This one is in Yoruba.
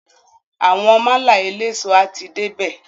Àwọn málà eléso a ti dé bè.